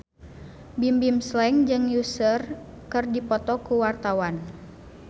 Bimbim Slank jeung Usher keur dipoto ku wartawan